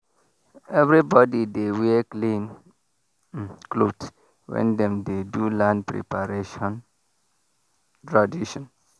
everybody dey wear clean um cloth when dem dey do land preparation tradition.